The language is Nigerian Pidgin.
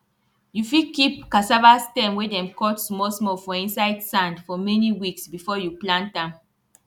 you fit keep cassava stem wey dem cut small small for inside sand for many weeks before you plant am